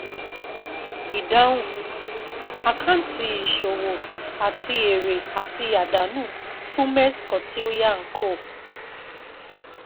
Ìdáhùn: ÀKÁǸTÌ ÌṢÒWÒ ÀTI ÈRÈ ÀTI ÀDÁNÙ FÚN MESS KAUTILYA and CO.